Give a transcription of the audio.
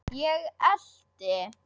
Ég þarf að hitta mann.